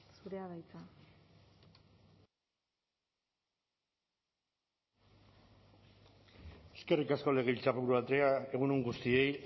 zurea da hitza eskerrik asko legebiltzarburu andrea egun on guztiei